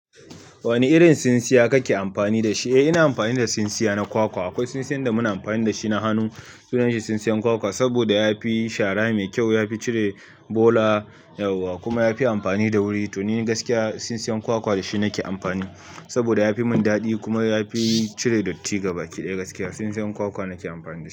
Wani irin tsintsiya ka ke amfani da shi? Eh ina amfani da tsintsiya na kwakwa. Akwai tsintsiyan da muna amfani da shi na hannu, sunan shi tsintsiyan kwakwa, saboda ya fi shara mai kyau, ya fi cire bola da yauwa kuma ya fi amfani da wuri. To ni gaskiya tsintsiyan kwakwa da shi nake amfani saboda ya fi mun dadi kuma ya fi cire datti gaba ɗaya gaskiya. Tsintsiyan kwakwa nake amfani da shi.